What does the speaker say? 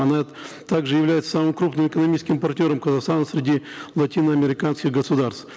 она также является самым крупным экономическим партнером казахстана среди латиноамериканских государств